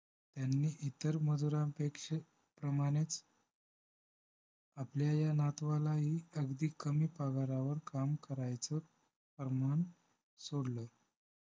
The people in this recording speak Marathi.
त्यांनी इतर मजुरांपेक्षा मजुरांप्रमाणेच आपल्या या नातवालाही अगदी कमी पगारावर काम करायचं अरमान सोडलं